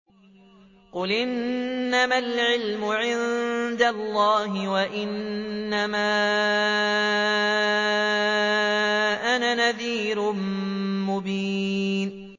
قُلْ إِنَّمَا الْعِلْمُ عِندَ اللَّهِ وَإِنَّمَا أَنَا نَذِيرٌ مُّبِينٌ